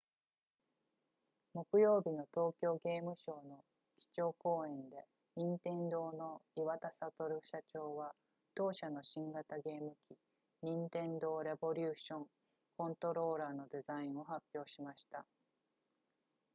木曜日の東京ゲームショウの基調講演で任天堂の岩田聡社長は同社の新型ゲーム機ニンテンドーレボリューションコントローラーのデザインを発表しました